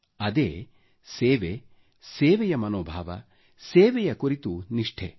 ಅದೇ ಸೇವೆ ಸೇವೆಯ ಮನೋಭಾವ ಸೇವೆಯ ಕುರಿತು ನಿಷ್ಠೆ